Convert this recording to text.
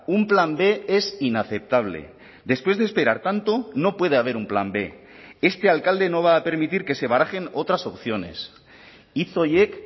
un plan b es inaceptable después de esperar tanto no puede haber un plan b este alcalde no va a permitir que se barajen otras opciones hitz horiek